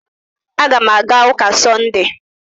Aga m aga ụka na Sọnde